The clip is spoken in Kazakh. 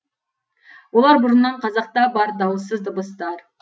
олар бұрыннан қазақта бар дауыссыз дыбыстар